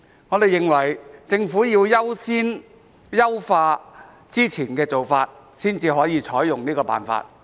我們認為，政府必須先優化之前的做法，才可以採用這個辦法。